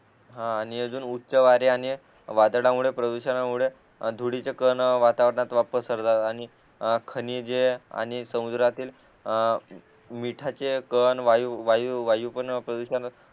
आणि अजून उच्च वारे आणि वादळा मुळे प्रदूषणामुळे धुळीचे कण वातावरणात पसरतात आणि खनिजे आणि समुद्रातील अ मिठाचे कण वायू वायू पण प्रदूषण